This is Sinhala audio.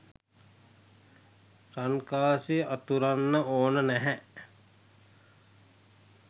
රන්කාසි අතුරන්න ඕන නැහැ.